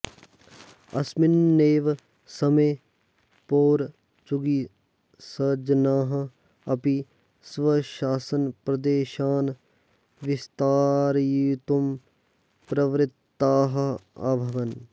अस्मिन्नेव समये पोर्चुगीसजनाः अपि स्वशासनप्रदेशान् विस्तारयितुम् प्रवृत्ताः अभवन्